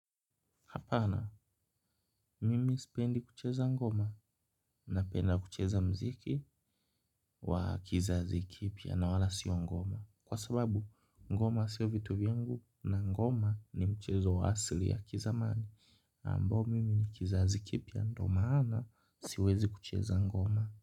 Hapana, mimi sipendi kucheza ngoma, napenda kucheza muziki wa kizazi kipya na wala sio ngoma. Kwa sababu, ngoma si vitu vyangu na ngoma ni mchezo wa asili ya kizamani. Ambo mimi ni kizazi kipya na ndiyo maana siwezi kucheza ngoma.